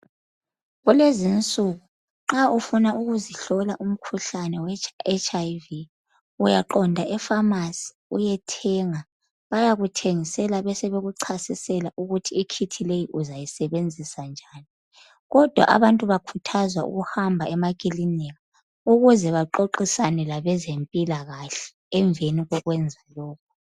Kulezinsuku nxa ufuna ukuzihlola umkhuhlane we HIV uyaqonda e Famasi uyethenga bayakuthengisela besebekuchasisela ukuthi ikhithi leyi uzayisebenzisa njani kodwa abantu bayakhuthazwa ukuhamba emakilinika ukuze bexoxisane abezempilakahle emveni kokwenza lokho.